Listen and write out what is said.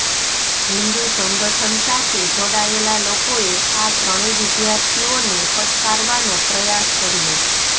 હિન્દુ સંગઠન સાથે જોડાયેલા લોકોએ આ ત્રણેય વિદ્યાર્થીઓને ફટકારવાનો પ્રયાસ કર્યો